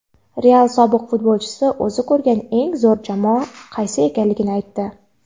"Real" sobiq futbolchisi o‘zi ko‘rgan eng zo‘r jamoa qaysi ekanligini aytdi;.